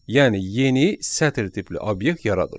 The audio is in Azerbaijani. Yəni yeni sətir tipli obyekt yaradır.